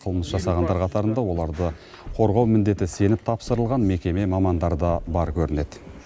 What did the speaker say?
қылмыс жасағандар қатарында оларды қорғау міндеті сеніп тапсырылған мекеме мамандары да бар көрінеді